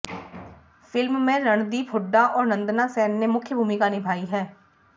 film में रणदीप हुड्डा और नंदना सेन ने मुख्य भूमिका निभाई है